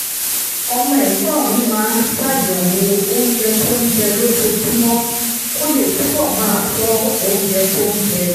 ọmọ ẹ̀gbọ́n mi máa ń ṣàyẹ̀wò oúnjẹ tó ń jẹ lójoojúmọ́ kó lè túbọ̀ máa ṣọ́ oúnjẹ tó ń jẹ